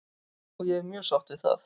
Og ég er mjög sátt við það.